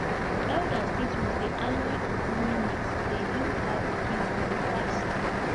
elders teach me say aloe and honey mix dey heal cow pikin wound fast